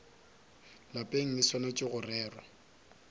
lapeng e swanetše go rerwa